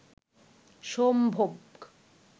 সম্ভোগ